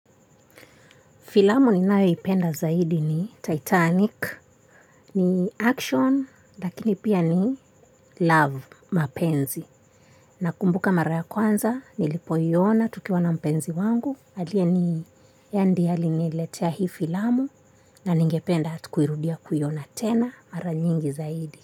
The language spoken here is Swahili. Filamu ninayoipenda zaidi ni Titanic, ni action, lakini pia ni love, mapenzi. Nakumbuka mara ya kwanza, nilipoiona tukiwa na mpenzi wangu, aliye ni, yeye ndiye aliniletea hii filamu, na ningependa hata kuirudia kuiona tena, mara nyingi zaidi.